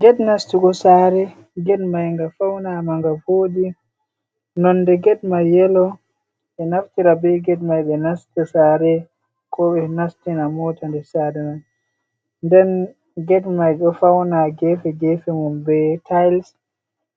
Get nastugo sare, get mai nga faunama nga vodi nonde get mai yelo ɓeɗo naftira bei get mai ɓe nasta sare ko ɓe nastina mota nder sare mai, nden get mai ɗo fauna gefe gefe mun be tiles